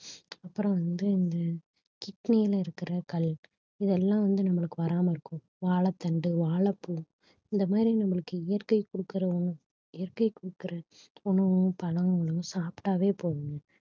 அப்புறம் வந்து இந்த kidney ல இருக்கிற கல் இதெல்லாம் வந்து நம்மளுக்கு வராம இருக்கும் வாழைத்தண்டு வாழைப்பூ இந்த மாதிரி நம்மளுக்கு இயற்கை குடுக்கிற இயற்கை குடுக்கிற உணவும் பழங்களும் சாப்பிட்டாவே போதுங்க